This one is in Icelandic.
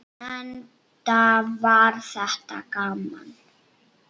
Enda var þetta gaman.